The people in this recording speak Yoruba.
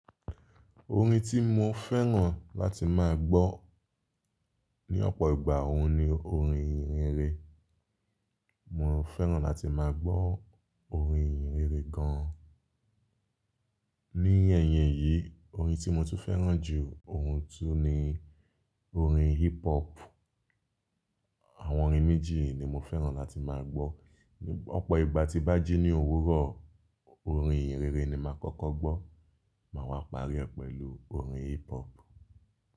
Orin tí mo fẹ́ràn láti máa gbọ́ ní ọ̀pọ̀ ìgbà óun ni orin ìhìnrere. Mo fẹ́ràn láti máa gbọ́ orin ìhìnrere gan. Ní ẹ̀yìn èyí, orin tí mo tún fẹ́ràn jù óun tún ni orin hip hop. Àwọn orin méjì yìí ni mo fẹ́ràn láti máa gbọ́. Ní ọ̀pọ̀ ìgbà tí bá jí ní òwúrọ̀, orin ìhìnrere ni màá kọ́kọ́ gbọ́, màá wá parí ọ pẹ̀lú orin hip hop.